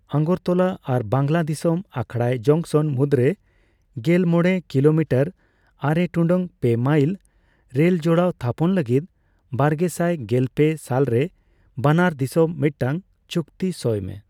ᱟᱜᱚᱨᱛᱚᱞᱟ ᱟᱨ ᱵᱟᱝᱞᱟᱫᱤᱥᱟᱹᱢ ᱟᱠᱷᱟᱭᱲᱟ ᱡᱚᱝᱥᱚᱱ ᱢᱩᱫᱨᱮ ᱜᱮᱞᱢᱚᱲᱮ ᱠᱤᱞᱳᱢᱤᱴᱟᱨ (ᱟᱨᱮ ᱴᱩᱰᱟᱹᱜ ᱯᱮ ᱢᱟᱭᱞ) ᱨᱮᱞ ᱡᱚᱲᱟᱣ ᱛᱷᱟᱯᱚᱱ ᱞᱟᱹᱜᱤᱫ ᱵᱟᱨᱜᱮᱥᱟᱭ ᱜᱮᱞᱯᱮ ᱥᱟᱞᱨᱮ ᱵᱟᱱᱟᱨ ᱫᱤᱥᱚᱢ ᱢᱤᱫᱴᱟᱝ ᱪᱩᱠᱛᱤ ᱥᱚᱭ ᱢᱮ᱾